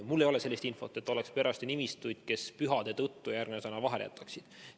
Mul ei ole sellist infot, et oleks perearste, kes pühade tõttu järgmise nädala vahel jätaksid.